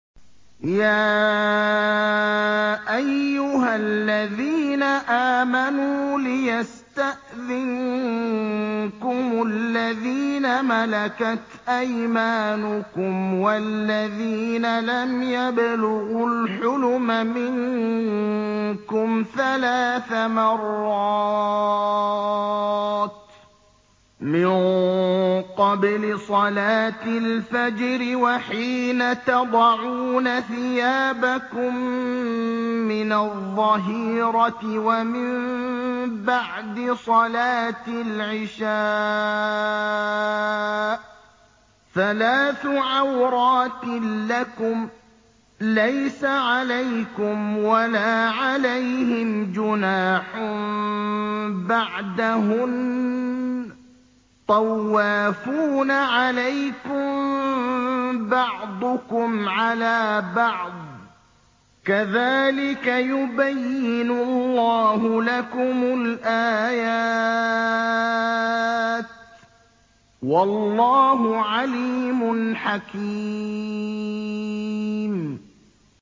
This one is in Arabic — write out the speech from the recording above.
يَا أَيُّهَا الَّذِينَ آمَنُوا لِيَسْتَأْذِنكُمُ الَّذِينَ مَلَكَتْ أَيْمَانُكُمْ وَالَّذِينَ لَمْ يَبْلُغُوا الْحُلُمَ مِنكُمْ ثَلَاثَ مَرَّاتٍ ۚ مِّن قَبْلِ صَلَاةِ الْفَجْرِ وَحِينَ تَضَعُونَ ثِيَابَكُم مِّنَ الظَّهِيرَةِ وَمِن بَعْدِ صَلَاةِ الْعِشَاءِ ۚ ثَلَاثُ عَوْرَاتٍ لَّكُمْ ۚ لَيْسَ عَلَيْكُمْ وَلَا عَلَيْهِمْ جُنَاحٌ بَعْدَهُنَّ ۚ طَوَّافُونَ عَلَيْكُم بَعْضُكُمْ عَلَىٰ بَعْضٍ ۚ كَذَٰلِكَ يُبَيِّنُ اللَّهُ لَكُمُ الْآيَاتِ ۗ وَاللَّهُ عَلِيمٌ حَكِيمٌ